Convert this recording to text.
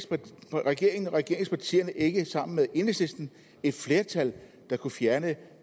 har regeringen og regeringspartierne ikke sammen med enhedslisten et flertal der kunne fjerne